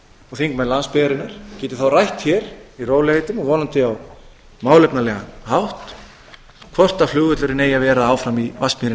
og þingmenn landsbyggðarinnar geti rætt hér í rólegheitum og vonandi á málefnalegan hátt hvort flugvöllurinn eigi að vera áfram í vatnsmýrinni eða